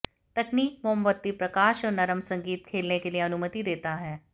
तकनीक मोमबत्ती प्रकाश और नरम संगीत खेलने के लिए अनुमति देता है